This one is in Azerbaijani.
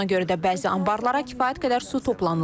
Buna görə də bəzi anbarlara kifayət qədər su toplanılmayıb.